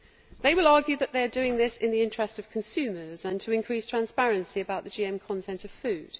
They will argue that they are doing this in the interest of consumers and to increase transparency about the GM content of food.